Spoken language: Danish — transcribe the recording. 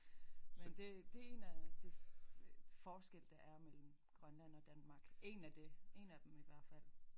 Men det det en af de forskelle der er mellem Grønland og Danmark en af det en af dem i hvert fald